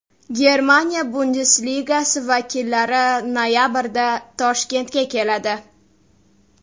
Germaniya Bundesligasi vakillari noyabrda Toshkentga keladi.